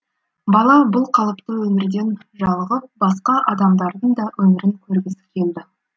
бала бұл қалыпты өмірден жалығып басқа адамдардың да өмірін көргісі келді